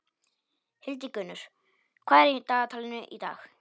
Hildigunnur, hvað er í dagatalinu í dag?